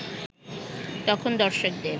তখন দর্শকদের